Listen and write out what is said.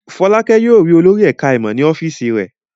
Fọ́lákẹ́ yóò rí olórí ẹ̀ka-ìmọ̀ ní ọ́fíísì rẹ̀.